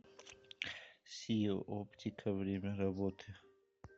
си оптика время работы